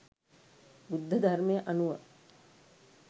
බුද්ධ ධර්මය අනුව